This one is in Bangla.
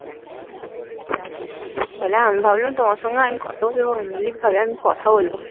বলে আমি ভাবলাম তোমার সঙ্গে কত কথা বলবো